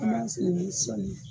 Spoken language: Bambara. An b'a sen ni sɔli ye.